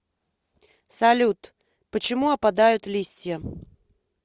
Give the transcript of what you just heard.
салют почему опадают листья